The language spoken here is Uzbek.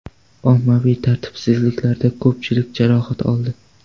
Ommaviy tartibsizliklarda ko‘pchilik jarohat oldi.